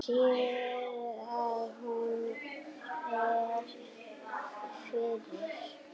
Sér að hún er fyrir.